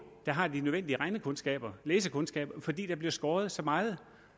der har de nødvendige regnekundskaber og læsekundskaber fordi der bliver skåret så meget